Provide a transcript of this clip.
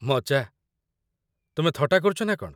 ମଜା? ତୁମେ ଥଟ୍ଟା କରୁଛ ନା କଣ ?